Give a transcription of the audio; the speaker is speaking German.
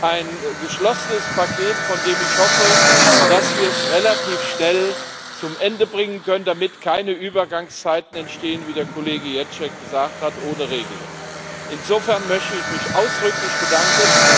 Ein geschlossenes Paket, von dem ich hoffe, dass wir es relativ schnell zu Ende bringen können, damit keine Übergangszeiten ohne Regelung entstehen, wie der Kollege Ježek gesagt hat. Insofern möchte ich mich ausdrücklich bedanken.